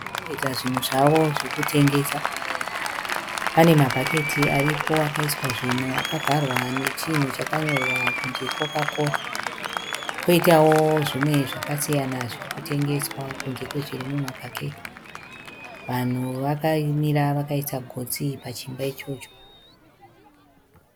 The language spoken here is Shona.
Vanhu vakarongedza zvunhu zvavo zvokutengesa. Pane mabhaketi aripo akaiswa zvinhu akavharwa nechinhu chakanyorwa kunzi Koka-Kora. Poitawo zvimwe zvakasiyana zviri kutengeswa kunze kwezviri mumabhaketi. Vanhu vakamira vakaisa gotsi pachimba ichocho.